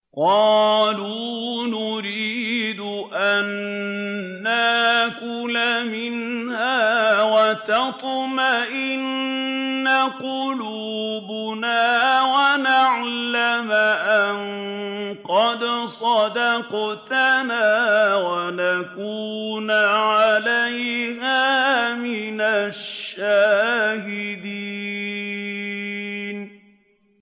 قَالُوا نُرِيدُ أَن نَّأْكُلَ مِنْهَا وَتَطْمَئِنَّ قُلُوبُنَا وَنَعْلَمَ أَن قَدْ صَدَقْتَنَا وَنَكُونَ عَلَيْهَا مِنَ الشَّاهِدِينَ